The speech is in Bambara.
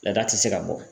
Laada ti se ka bɔ